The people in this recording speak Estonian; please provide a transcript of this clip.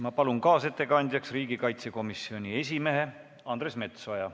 Ma palun kaasettekandjaks riigikaitsekomisjoni esimehe Andres Metsoja.